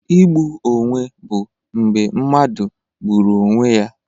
Igbu onwe bụ mgbe mmadụ gburu onwe ya.